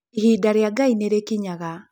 Ihinda rĩa ngai nĩ rĩkinyaga.